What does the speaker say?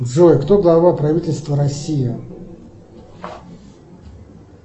джой кто глава правительства россии